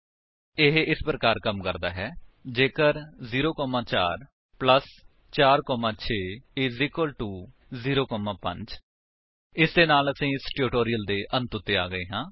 ਇਹ ਇਸ ਪ੍ਰਕਾਰ ਕੰਮ ਕਰਦਾ ਹੈ ਜੇਕਰ 0 4 4 6 0 5 ਇਸ ਦੇ ਨਾਲ ਅਸੀ ਇਸ ਟਿਊਟੋਰਿਅਲ ਦੇ ਅੰਤ ਵਿੱਚ ਆ ਗਏ ਹਾਂ